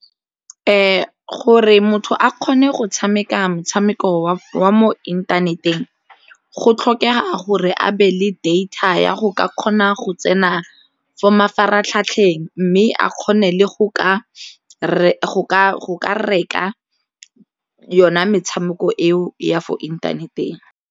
Gore motho a kgone go tshameka motshameko wa mo inthaneteng go tlhokega gore a be le data ya go ka kgona go tsena a for mafaratlhatlheng mme a kgone le go ka reka yona metshameko eo ya for inthaneteng.